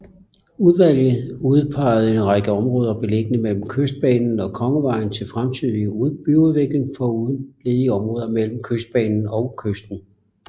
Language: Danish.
Udvalget udpegede en række områder beliggende mellem Kystbanen og Kongevejen til fremtidig byudvikling foruden ledige områder mellem Kystbanen og kysten